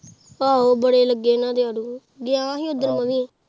ਆਹੋ ਬੜੇ ਲੱਗੇ ਇਹਨਾਂ ਦੇ ਆੜੂ ਗਿਆ ਹੀ ਉੱਦਣ ਮੈਂ ਵੀ।